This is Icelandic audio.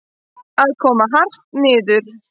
Að koma hart niður